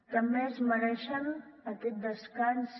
també es mereixen aquest descans